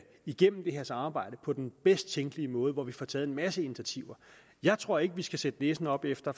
igennem det her samarbejde på den bedst tænkelige måde hvor vi får taget en masse initiativer jeg tror ikke at vi skal sætte næsen op efter